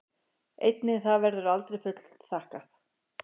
Einnig það verður aldrei fullþakkað.